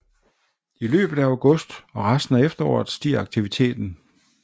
I løbet af august og resten af efteråret stiger aktiviteten